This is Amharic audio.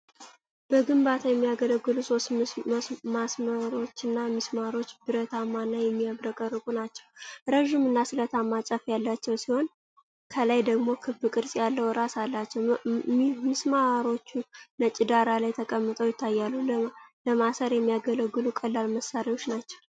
በግንባታ የሚያገለግሉ ሶስት ምስማሮችን ሚስማሮቹ ብረታማና የሚያብረቀርቁ ናቸው። ረጅምና ስለታማ ጫፍ ያላቸው ሲሆን ከላይ ደግሞ ክብ ቅርጽ ያለው ራስ አላቸው። ምስማሮቹ ነጭ ዳራ ላይ ተቀምጠው ይታያሉ። ለማሰር የሚያገለግሉ ቀላል መሳሪያዎች ናቸው።